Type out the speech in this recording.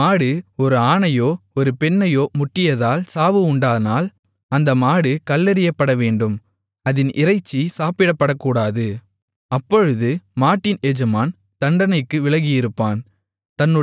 ஒரு மாடு ஒரு ஆணையோ ஒரு பெண்ணையோ முட்டியதால் சாவு உண்டானால் அந்த மாடு கல்லெறியப்படவேண்டும் அதின் இறைச்சி சாப்பிடப்படக்கூடாது அப்பொழுது மாட்டின் எஜமான் தண்டனைக்கு விலகியிருப்பான்